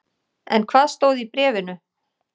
En hvað stóð í bréfinu?